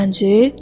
Zənci?